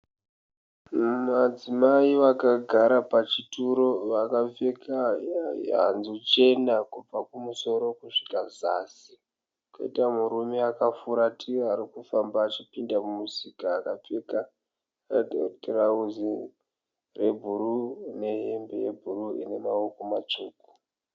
Madzimai vakagara pachituro vakapfeka hanzu chena kubva kumusoro kusvika zasi. Koita murume akafuratira arikufamba achipinda mumusika akapfeka tirauzi rebruu nehembe yebruu ine maoko matsvuku.